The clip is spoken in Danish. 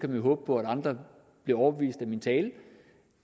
man håbe på at andre bliver overbevist af min tale